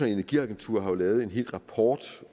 energiagentur har jo lavet en hel rapport